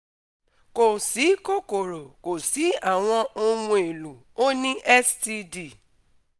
Ko si kokoro Ko si awọn ohun elo O ni STD